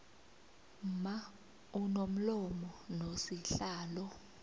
mma unomlomo nosihlalo